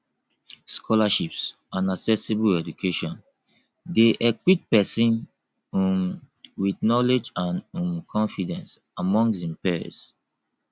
scholarships and accessible education de equip persin um with knowlegde and um confidence among him peers